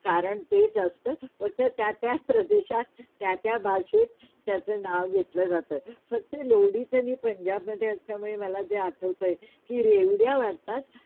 कारण तेच असतं पण त्या त्या प्रदेशात, त्या त्या भाषेत, त्याचा नाव घेतलं जात फक्त लोढीच पंजाबमधे असल्यामुळे मला जे आठवतंय कि रेवाड्या वाटतात